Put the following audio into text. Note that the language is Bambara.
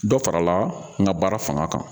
Dɔ farala n ka baara fanga kan